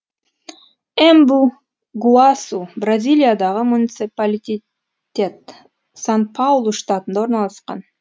эмбу гуасу бразилиядағы муниципалитет сан паулу штатында орналасқан